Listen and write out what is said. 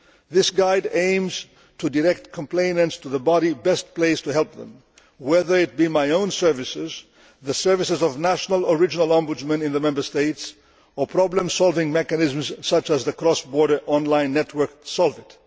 This guide aims to direct complainants to the body best placed to help them, whether it be my own services, the services of national or regional ombudsmen in the Member States, or problem solving mechanisms such as the cross border online network Solvit.